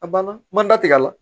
A banna ma datigɛ la